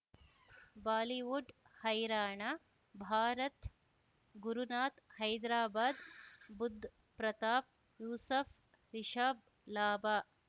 Bollywood ಹೈರಾಣ ಭಾರತ್ ಗುರುನಾಥ್ ಹೈದರಾಬಾದ್ ಬುಧ್ ಪ್ರತಾಪ್ ಯೂಸಫ್ ರಿಷಬ್ ಲಾಭ